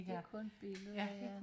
det kun billeder ja